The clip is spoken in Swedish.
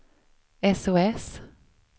sos